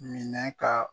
Minɛ ka